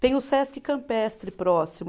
Tem o Sesc Campestre próximo.